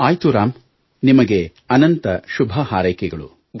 ಆಯ್ತು ರಾಮ್ ನಿಮಗೆ ಅನಂತ ಶುಭ ಹಾರೈಕೆಗಳು